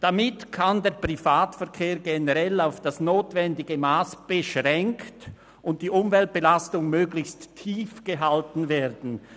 «Damit kann der Privatverkehr generell auf das notwendige Mass beschränkt, und die Umweltbelastung möglichst tief gehalten werden.